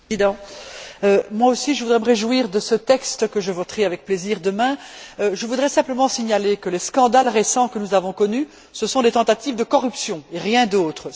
Monsieur le Président, moi aussi, je voudrais me réjouir de ce texte que je voterai avec plaisir demain. Je voudrais simplement signaler que les scandales récents que nous avons connus, ce sont des tentatives de corruption, et rien d'autre.